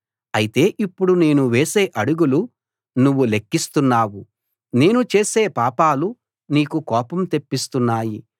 అయితే ఇప్పుడు నేను వేసే అడుగులు నువ్వు లెక్కిస్తున్నావు నేను చేసే పాపాలు నీకు కోపం తెప్పిస్తున్నాయి